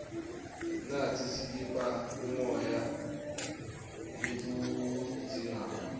natsi sitipha umoya letiwudzingako